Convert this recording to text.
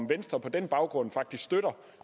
venstre på den baggrund faktisk